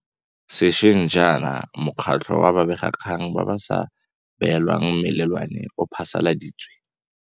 Sešweng jaana Mokgatlho wa Babegakgang ba ba sa Beelwang Melelwane o phasaladitse.